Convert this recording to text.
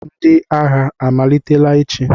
Ndị agha amalitela ịchị?